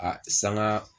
A sanga